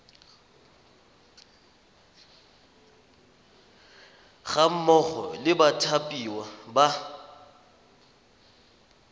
ga mmogo le bathapiwa ba